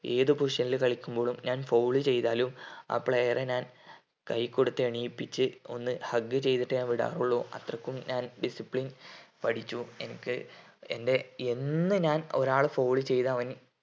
ഏത് position ൽ കളിക്കുമ്പോളും ഞാൻ foul ചെയ്‌താലും ആ player എ ഞാൻ കൈ കൊടുത്ത് എണീപ്പിച്ച് ഒന്ന് hug ചെയ്‌തിട്ടേ ഞാൻ വിടാറുള്ളു അത്രയ്ക്കും ഞാൻ discipline പഠിച്ചു എനിക്ക് എൻ്റെ എന്നും ഞാൻ ഒരാളെ foul ചെയ്താ ഓനി